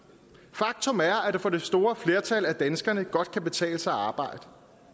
faktum er at det for det store flertal af danskerne godt kan betale sig at arbejde